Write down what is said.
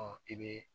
Ɔ i bɛ